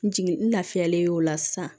N jigin n lafiyalen y'o la sisan